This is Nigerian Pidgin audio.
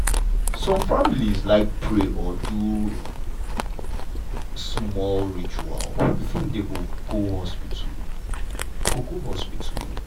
some family like pray or do smol ritual before dem go go hospital. go go hospital.